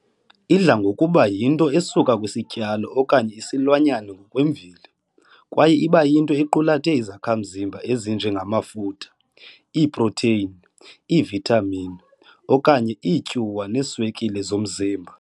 Idla ngokuba yinto esuka kwisityalo okanye isilwanyana ngokwemveli, kwaye iba yinto equlathe izakha mzimba ezinje ngamafutha, iiproteyini, iivithamini, okanye iityuwa neeswekile zomzimba .